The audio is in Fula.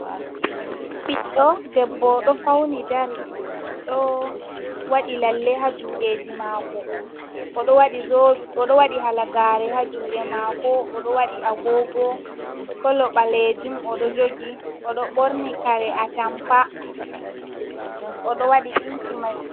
Ɓiɗɗo debbo ɗo fawni dari, ɗo waɗi lalle ha juuɗeeji maako. O ɗo waɗi zo, halagaare ha juuɗe maako, o ɗo waɗi "agoogo kolo" ɓalejum, o ɗo jogi, o ɗo ɓorni "kare a tampa", o ɗo waɗi ɗinki may.